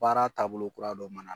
Baara taabolo kura dɔ mana